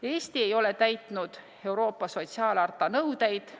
Eesti ei ole täitnud Euroopa sotsiaalharta nõudeid.